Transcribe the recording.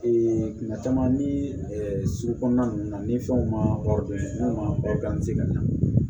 kuma caman ni sugu kɔnɔna ninnu na ni fɛnw ma ka ɲɛ